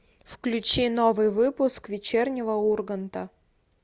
включи новый выпуск вечернего урганта